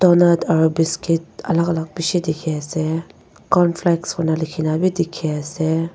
aro biscuit alak alak beshi dekhe ase cornflakes koina lekhena bhi dekhe ase.